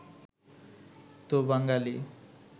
তো বাঙালী